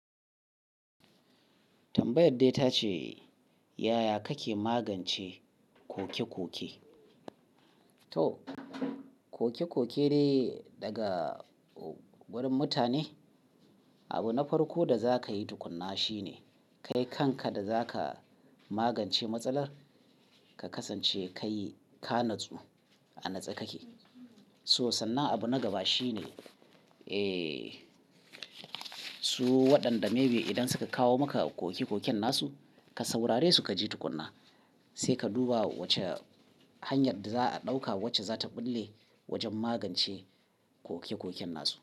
Tambayar dai ta ce, "yaya kake magance koke-koke?" To koke-koke dai daga wurin mutane. Abu na farko da za ka yi tukunna shi ne kai kanka da za ka magance matsalar, ka kasance kai ka natsu a natse kake. So sannan abu na gaba shi ne su waɗanda maybe idan suka kawo maka koke-koken nasu ka saurare su ka ji tukunna, sai ka duba wace hanyar da za a ɗauka wacce za ta ɓulle wajen magance koke-koken nasu.